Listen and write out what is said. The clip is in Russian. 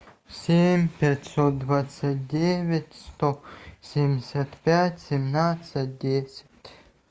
семь пятьсот двадцать девять сто семьдесят пять семнадцать десять